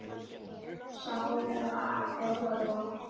Sama á við um þjálfaramál?